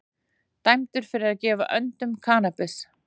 Dæmdur fyrir að gefa öndum kannabis